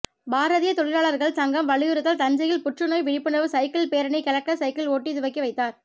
பாரதிய தொழிலாளர்கள் சங்கம் வலியுறுத்தல் தஞ்சையில் புற்றுநோய் விழிப்புணர்வு சைக்கிள் பேரணி கலெக்டர் சைக்கிள் ஓட்டி துவக்கி வைத்தார்